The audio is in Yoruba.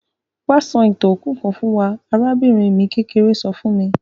Wa sọ ìtàn òkú kan fún wa; arabìnrin mi kékeré so fun mi.